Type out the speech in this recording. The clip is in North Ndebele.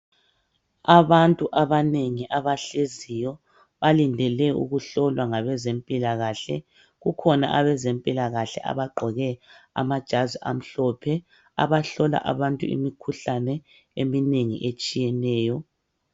Abantu abanengi abahleziyo balindele ukuhlolwa ngabezempilakahle kukhona abezempilakahle abagqoke amajazi amhlophe abahlola abantu imikhuhlane eminengi etshiyeneyo.